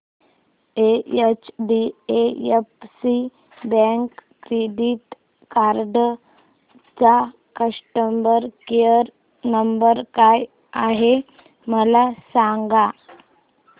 HDFC bank credit card चा customer care number काय आहे मला सांगा